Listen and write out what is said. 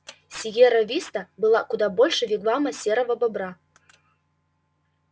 сиерра виста была куда больше вигвама серого бобра